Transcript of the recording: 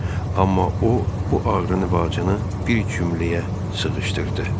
Amma o, bu ağrını və acını bir cümləyə sığışdırdı.